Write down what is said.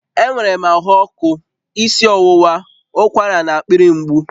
Enwere m ahụ ọkụ, isi ọwụwa, ụkwara na akpịrị mgbu